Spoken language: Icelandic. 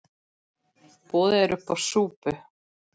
Boðið er uppá súpu.